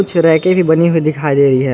कुछ रैके बनी हुई दिखाई दे रही हैं।